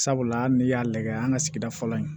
Sabula hali ne y'a lagɛ an ka sigida fɔlɔ in